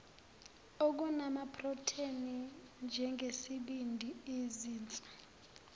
okunamaprotheni njengesibindi izinso